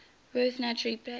werth naturally played